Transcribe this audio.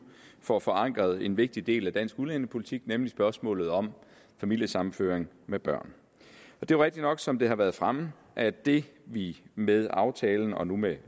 får forankret en vigtig del af dansk udlændingepolitik nemlig spørgsmålet om familiesammenføring med børn det er rigtigt nok som det har været fremme at det vi med aftalen og nu med